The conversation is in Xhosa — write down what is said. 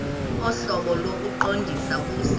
ohlobo lokuqondisa kuse